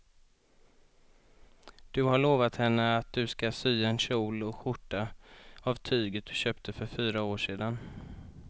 Du har lovat henne att du ska sy en kjol och skjorta av tyget du köpte för fyra år sedan.